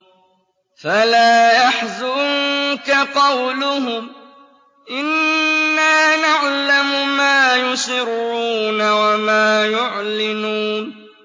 فَلَا يَحْزُنكَ قَوْلُهُمْ ۘ إِنَّا نَعْلَمُ مَا يُسِرُّونَ وَمَا يُعْلِنُونَ